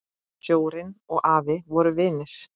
Sjórinn og afi voru vinir.